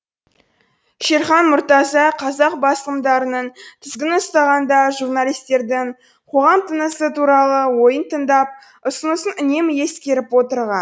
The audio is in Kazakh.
шерхан мұртаза қазақ басылымдарының тізгінін ұстағанда журналистердің қоғам тынысы туралы ойын тыңдап ұсынысын үнемі ескеріп отырған